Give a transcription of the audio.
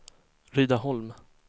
Rydaholm